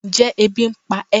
Njẹ ebí n pa e?